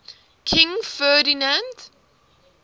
king ferdinand